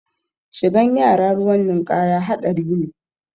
Shigan yara ruwan ninkaya haɗari ne